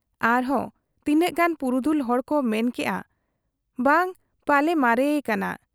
ᱟᱨᱦᱚᱸ ᱛᱤᱱᱟᱹᱜ ᱜᱟᱱ ᱯᱩᱨᱩᱫᱷᱩᱞ ᱦᱚᱲᱠᱚ ᱢᱮᱱ ᱠᱮᱜ ᱟ ᱵᱟ ᱯᱟᱞᱮ ᱢᱟᱨᱮ ᱟᱠᱟᱱᱟ ᱾